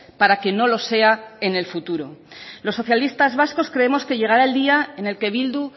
para que no lo sea en el futuro los socialistas vascos creemos que llegará el día en el que bildu